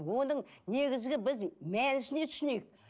оның негізгі біз мәнісіне түсінейік